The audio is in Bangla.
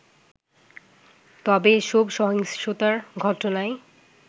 তবে এসব সহিংসতার ঘটনায়